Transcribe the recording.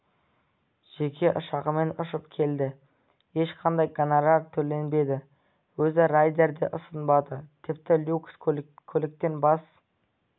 жеке ұшағымен ұшып келді ешқандай гонорар төленбеді өзі райдер де ұсынбады тіпті люкс көліктен бас